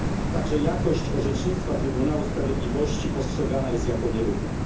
Także jakość orzecznictwa Trybunału Sprawiedliwości postrzegana jest jako nierówna.